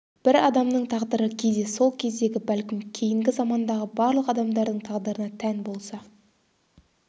бір адамның тағдыры кейде сол кездегі бәлкім кейінгі замандағы барлық адамдардың тағдырына тән болса